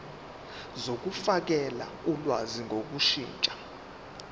zokufakela ulwazi ngokushintsha